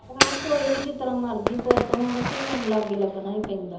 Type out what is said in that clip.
ਹਾਂ ਕੋਈ ਨੀ ਜਿਸ ਤਰ੍ਹਾਂ ਮਰਜ਼ੀ ਪੁੱਤ ਹੋਣ ਧੀਆਂ ਲਾਗੇ ਲੱਗਣਾ ਹੀ ਪੈਂਦਾ